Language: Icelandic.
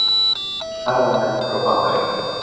Fælir ferðamenn frá Bandaríkjunum